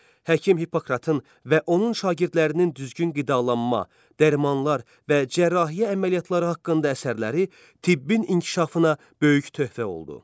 Həkim Hippokratın və onun şagirdlərinin düzgün qidalanma, dərmanlar və cərrahiyyə əməliyyatları haqqında əsərləri tibbin inkişafına böyük töhfə oldu.